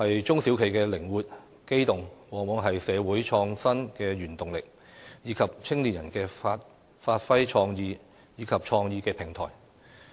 中小企的靈活、機動，往往是社會創新的原動力，以及青年人發揮創意及創業的平台。